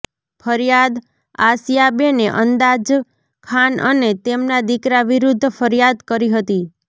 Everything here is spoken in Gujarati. ફરિયાદ આસયાબેને અંદાજખાન અને તેમના દિકરા વિરૃધ્ધ ફરિયાદ કરી હતી